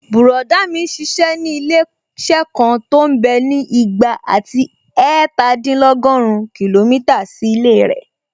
Bùrọ̀dá mi n ṣiṣẹ́ ní ilé-iṣẹ́ kan tó mbẹ́ ní ìgbà àti ẹ̀ẹ̀tàdínlọ́gùrún kìlómítà sí ilé rẹ̀